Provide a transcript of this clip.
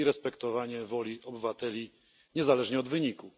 i respektowania woli obywateli niezależnie od wyniku.